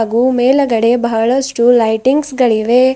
ಹಾಗೂ ಮೇಲಗಡೆ ಬಹಳಷ್ಟು ಲೈಟಿಂಗ್ಸ್ ಗಳಿವೆ.